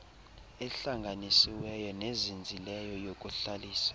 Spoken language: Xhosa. ehlanganisiweyo nezinzileyo yokuhlalisa